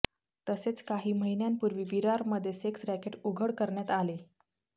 तसेच काही महिन्यांपूर्वी विरारमध्ये सेक्स रॅकेट उघड करण्यात आले